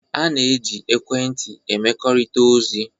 A na-eji ekwentị emekọrịta ozi,